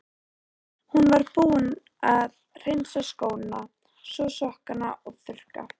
Hún var búin að hreinsa skóna, þvo sokkana og þurrka.